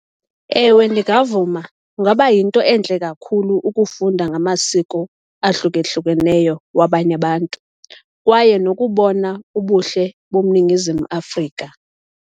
Ewe, ndingavuma. Kungaba yinto entle kakhulu ukufunda ngamasiko ahlukahlukeneyo wabanye abantu kwaye nokubona ubuhle boMningizimu Afrika.